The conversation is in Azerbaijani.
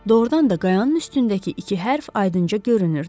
Doğrudan da qayanın üstündəki iki hərf aydınca görünürdü.